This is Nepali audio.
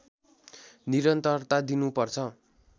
निरन्तरता दिनु पर्छ